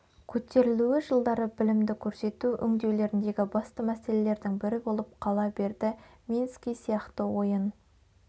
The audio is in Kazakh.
көтерілуі жылдары білімді көрсету өңдеулеріндегі басты мәселелердің бірі болып қала берді мински сияқты ойын